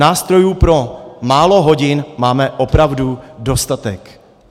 Nástrojů pro málo hodin máme opravdu dostatek.